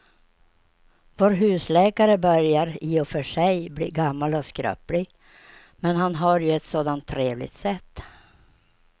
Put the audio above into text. Vår husläkare börjar i och för sig bli gammal och skröplig, men han har ju ett sådant trevligt sätt!